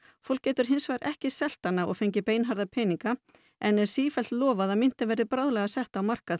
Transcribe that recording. fólk getur hins vegar ekki selt hana og fengið beinharða peninga en er sífellt lofað að myntin verði bráðlega sett á markað